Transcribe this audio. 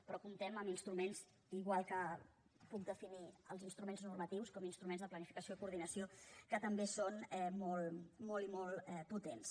però comptem amb instruments igual que puc definir els instruments normatius de planificació i coordinació que també són molt i molt potents